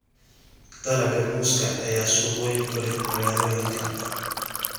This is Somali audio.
Dalagga muuska ayaa suuq weyn ku leh magaalooyinka.